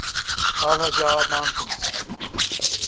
al hajar mountains